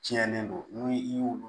Tiɲɛnen don ni i y'olu